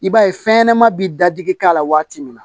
I b'a ye fɛnɲɛnɛmani bɛ dadigi k'a la waati min na